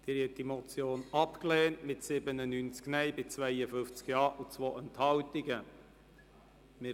Sie haben diese Motion mit 97 Nein- gegen 52 Ja-Stimmen bei 2 Enthaltungen abgelehnt.